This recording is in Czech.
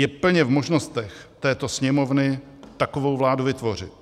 Je plně v možnostech této Sněmovny takovou vládu vytvořit.